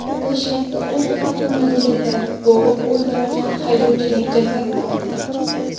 Toshkentda o‘z avtomobilida bo‘g‘ib o‘ldirilgan haydovchining jasadi topildi.